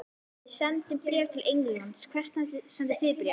Við sendum bréf til Englands. Hvert sendið þið bréf?